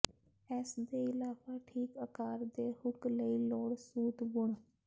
ਇਸ ਦੇ ਇਲਾਵਾ ਠੀਕ ਆਕਾਰ ਦੇ ਹੁੱਕ ਲਈ ਲੋੜ ਸੂਤ ਬੁਣ